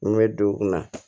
N bɛ don u kun na